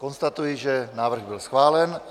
Konstatuji, že návrh byl schválen.